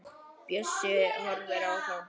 Bjössi horfir á þá.